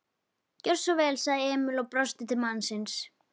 Gjörðu svo vel, sagði Emil og brosti til mannsins.